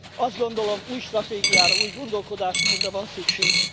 Azt gondolom, új stratégiára, új gondolkodásmódra van szükség.